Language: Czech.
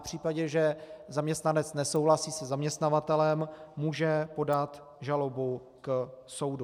V případě, že zaměstnanec nesouhlasí se zaměstnavatelem, může podat žalobu k soudu.